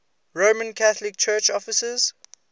roman catholic church offices